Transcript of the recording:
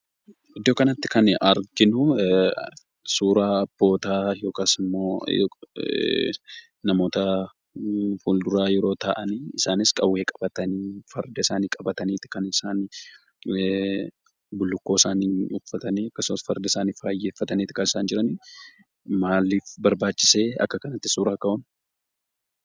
Iddoo kanatti kan arginu, suuraa boodaa yookisimmo namoota fulduraa yoo ta'an, isaanis qawwee qabatani, farda isaani qabatanidha kan isaan bullukkoo isaanii uffatani akkasumas farda isaani bareechatanit kan isan jiran. Maaliif barbaachise akkatti suuraa ka'uun?